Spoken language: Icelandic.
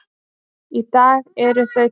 Í dag eru þau tvö.